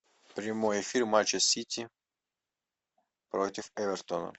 прямой эфир матча сити против эвертона